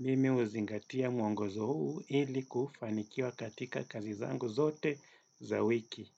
Mimi huzingatia mwongozo huu ili kufanikiwa katika kazi zangu zote za wiki.